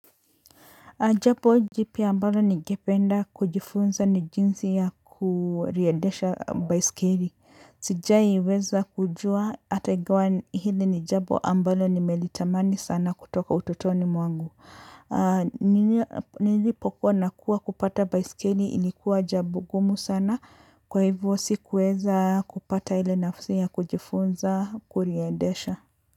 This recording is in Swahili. Jambo jipya ambalo ningependa kujifunza ni jinsi ya kuliendesha baiskeli. Sijaiweza kujua hata ingawa hili ni jambo ambalo nimelitamani sana kutoka utotoni mwangu. Nilipokuwa nakuwa kupata baiskeli ilikuwa jambo ngumu sana kwa hivyo si kuweza kupata ile nafasi ya kujifunza kuliendesha.